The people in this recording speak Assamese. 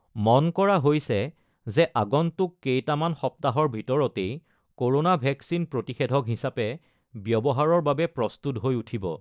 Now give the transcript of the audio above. মন কৰা হৈছে যে আগন্তুক কেইটামান সপ্তাহৰ ভিতৰতেই ক'ৰোনা ভেকচিন প্ৰতিষেধক হিচাপে ব্যৱহাৰৰ বাবে প্ৰস্তুত হৈ উঠিব।